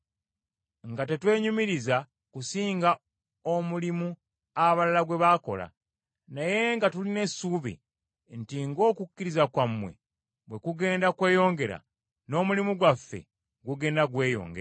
nga tetwenyumiriza kusinga omulimu abalala gwe baakola, naye nga tulina essuubi nti ng’okukkiriza kwammwe bwe kugenda kweyongera, n’omulimu gwaffe gugenda gweyongera,